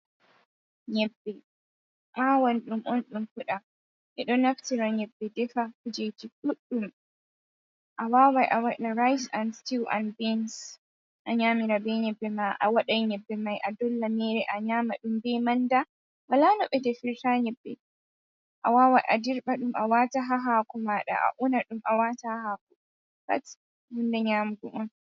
Nyabbe awan ɗum on ɗum fuda, ɓe ɗo naftira nyabbe defa kujeji ɗuɗɗum. a wawai a waɗa rice and sitiw and bins, a nyamira be nyabbe ma a waɗan nyabbe mai a dolla ɗum a nyama ɗum be manda, wala no ɓe de firta nyabbe a wawai a dirɓa ɗum a wata ha hako maɗa, a una ɗum a wata ha hako pat hunde bnyamugo on.